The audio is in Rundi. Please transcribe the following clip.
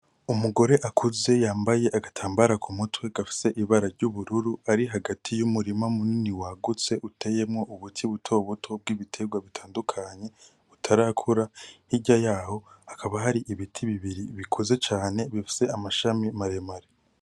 Umugore akuze yambaye agatambara kumutwe gafise ibara ry'ubururu, ari hagati y'umurima munini wagutse uteyemwo ubuti buto buto bw'ibiterwa butandukanye, butarakura. Hirya yaho hakaba hari ibiti bibiri bikuze cane, bifise amashami maremare.